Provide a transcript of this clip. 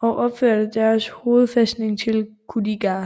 og opførte deres hovedfæstning i Kuldīga